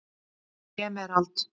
Emerald